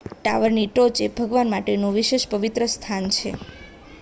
ટાવરની ટોચ એ ભગવાન માટેનું વિશેષ પવિત્ર સ્થાન હતું